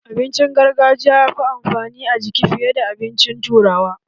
Abincin gargajiya yafi amfani a jiki fiye da abincin turawa.